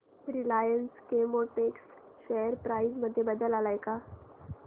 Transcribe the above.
Reliance Chemotex share price मध्ये बदल आलाय का